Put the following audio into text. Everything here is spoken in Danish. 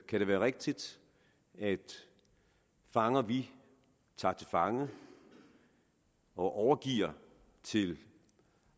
kan være rigtigt at fanger vi taget til fange og overgiver til